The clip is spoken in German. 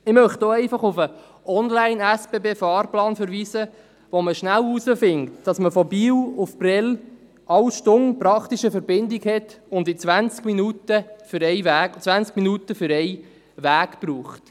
Ich möchte hier auf den SBB-Online-Fahrplan verweisen, mit welchem man schnell herausfindet, dass man von Biel nach Prêles praktisch jede Stunde eine Verbindung hat und 20 Minuten für einen Weg braucht.